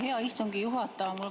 Hea istungi juhataja!